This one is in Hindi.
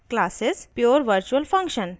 *pure virtual function